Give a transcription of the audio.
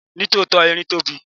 Ní tòótọ́, erin tóbi.